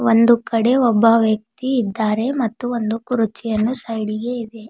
ಒಂದು ಕಡೆ ಒಬ್ಬ ವ್ಯಕ್ತಿ ಇದ್ದಾರೆ ಮತ್ತು ಒಂದು ಕುರ್ಚಿಯನ್ನು ಸೈಡಿಗೆ ಇದೆ.